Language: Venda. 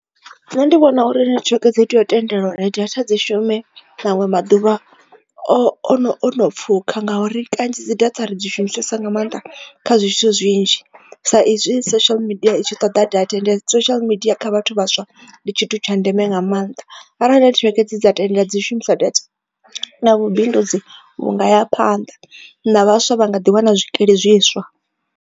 Nṋe ndi vhona uri nethiweke dzi tea u tendelwa uri data dzi shume nangwe maḓuvha ono pfhukha ngauri kanzhi dzi data ri dzi shumisesa nga maanḓa kha zwithu zwinzhi sa izwi social media i tshi ṱoḓa data and social media kha vhathu vhaswa ndi tshithu tsha ndeme nga maanḓa arali nethiweke dza tendela dzi shumisa data na vhubindudzi vhunga ya phanḓa na vhaswa vha nga ḓi wana zwikili zwiswa.